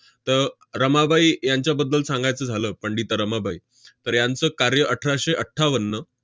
त~ रमाबाई यांच्याबद्दल सांगायचं झालं पंडिता रमाबाई, तर यांचं कार्य अठराशे अठ्ठावन्न